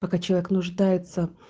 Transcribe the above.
пока человек нуждается